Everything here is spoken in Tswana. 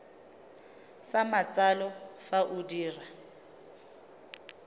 sa matsalo fa o dira